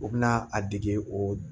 U bɛ na a dege o